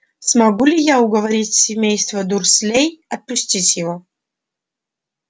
смогу ли я уговорить семейство дурслей отпустить его